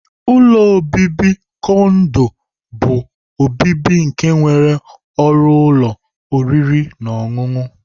Ụlọ obibi kondo bu obibi nke nwere ọrụ ụlọ oriri na ọṅụṅụ.